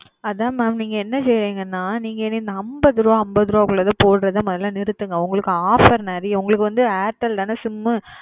அத mam நீங்க என்ன சொல்லுறிங்கன்னா நீங்க அம்பதுரூபா அம்பதுரூபா போடுறதமுதல நிறுத்துங்க உங்களுக்கு offer நேரிய இருக்கு